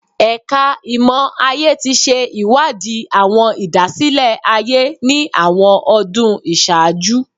Ẹka Imọ-aye ti ṣe iwadi awọn idasile-aye ni awọn ọdun iṣaaju